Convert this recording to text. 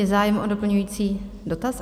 Je zájem o doplňující dotaz?